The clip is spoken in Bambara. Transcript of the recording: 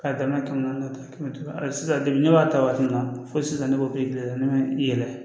K'a daminɛ kɛmɛ naani ta kɛmɛ sisan ne b'a ta waati min na fo sisan ne b'o ne ma yɛlɛ